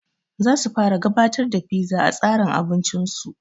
Zasu fara gabatar da fiza a tsarin abincin su